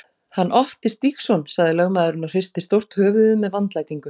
Hann Otti Stígsson, sagði lögmaðurinn og hristi stórt höfuðið með vandlætingu.